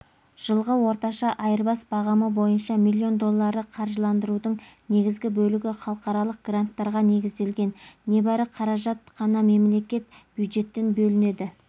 жылғы орташа айырбас бағамы бойынша миллион доллары қаржыландырудың негізгі бөлігі халықаралық гранттарға негізделген небәрі қаражат қана мемлекеттік бюджеттен бөлінеді